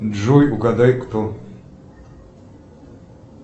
джой угадай кто